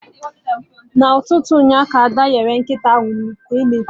Na ụtụtụ ụnyaahụ ka Ada nyere nkịta anụ nri